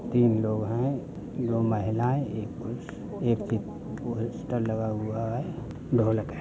तीन लोग हैं दो महिलायें एक पुरुष ये लगा हुआ है ढोलक है।